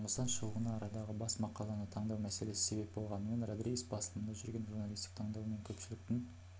жұмыстан шығуына арадағы бас мақаланы таңдау мәселесі себеп болмағанымен родригес басылымында жүргенде журналистік таңдау мен көпшіліктің